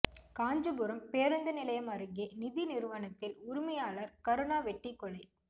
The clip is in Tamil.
காஞ்சிபுரம் பேருந்து நிலையம் அருகே நிதி நிறுவனத்தில் உரிமையாளர் கருணா வெட்டி கொலை